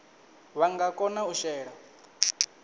vha nga kona u shela